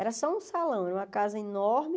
Era só um salão, era uma casa enorme.